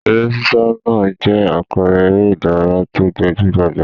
Eré sísá náà jẹ́ àpẹẹrẹ eré-idárayá tó gbajú-gbajà.